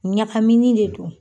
Ɲakamini de don